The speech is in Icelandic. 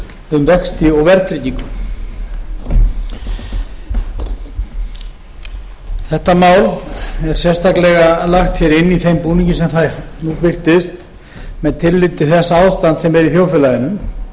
um vexti og verðtryggingu þetta mál er sérstaklega lagt hér inn í þeim búningi sem það er byggt upp með tilliti til þess ástands sem er í þjóðfélaginu